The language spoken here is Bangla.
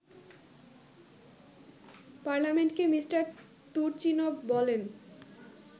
পার্লামেন্টকে মিষ্টার তুর্চিনভ বলেন